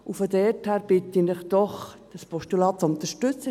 Von daher bitte ich Sie doch, ein Postulat zu unterstützen.